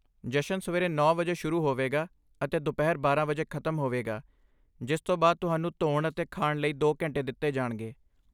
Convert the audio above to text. ਜਸ਼ਨ ਸਵੇਰੇ ਨੌ ਵਜੇ ਸ਼ੁਰੂ ਹੋਵੇਗਾ ਅਤੇ ਦੁਪਹਿਰ ਬਾਰਾਂ ਵਜੇ ਖ਼ਤਮ ਹੋਵੇਗਾ, ਜਿਸ ਤੋਂ ਬਾਅਦ ਤੁਹਾਨੂੰ ਧੋਣ ਅਤੇ ਖਾਣ ਲਈ ਦੋ ਘੰਟੇ ਦਿੱਤੇ ਜਾਣਗੇ